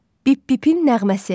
Bip-bipin nəğməsi.